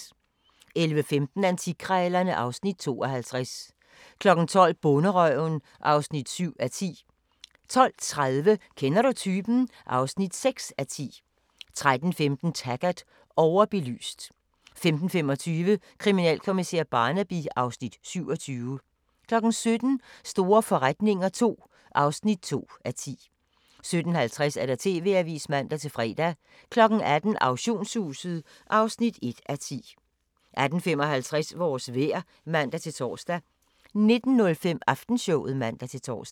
11:15: Antikkrejlerne (Afs. 52) 12:00: Bonderøven (7:10) 12:30: Kender du typen? (6:10) 13:15: Taggart: Overbelyst 15:25: Kriminalkommissær Barnaby (Afs. 27) 17:00: Store forretninger II (2:10) 17:50: TV-avisen (man-fre) 18:00: Auktionshuset (1:10) 18:55: Vores vejr (man-tor) 19:05: Aftenshowet (man-tor)